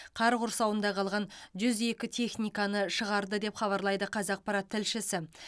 қар құрсауында қалған жүз екі техниканы шығарды деп хабарлайды қазақпарат тілшісі